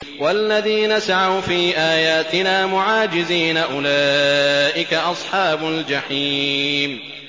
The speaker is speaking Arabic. وَالَّذِينَ سَعَوْا فِي آيَاتِنَا مُعَاجِزِينَ أُولَٰئِكَ أَصْحَابُ الْجَحِيمِ